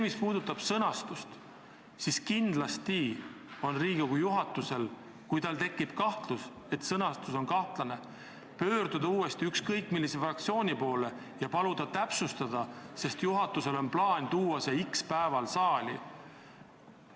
Mis puudutab sõnastust, siis kui Riigikogu juhatusel tekib kahtlus, et sõnastus pole selge, siis võib ta uuesti asjaosalise fraktsiooni poole pöörduda ja paluda sõnastust täpsustada, sest juhatusel on plaan avaldus x päeval saali esitada.